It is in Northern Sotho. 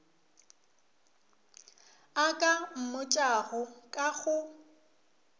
a ka mmotšago ka go